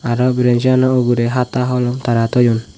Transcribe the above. aro branchi gano ugure hata holom tara thoyun.